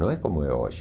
Não é como é hoje.